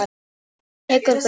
Hann tekur bréfið.